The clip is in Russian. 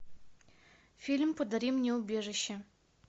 фильм подари мне убежище